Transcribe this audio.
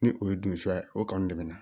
Ni o ye dunsuya ye o kanu bɛ na